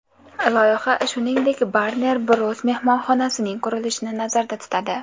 Loyiha, shuningdek, Warner Bros. mehmonxonasining qurilishini nazarda tutadi.